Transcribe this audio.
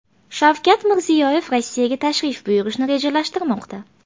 Shavkat Mirziyoyev Rossiyaga tashrif buyurishni rejalashtirmoqda.